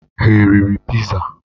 Ha eriri piza?